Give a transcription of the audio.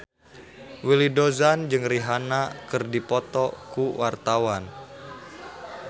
Willy Dozan jeung Rihanna keur dipoto ku wartawan